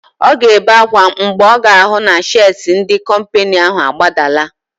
Ọ ga-ebe ákwá mgbe ọ ga-ahụ na shịas ndị kọmpịnị ahụ agbadala.